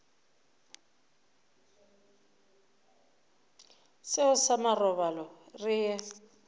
seo sa marobalo re ye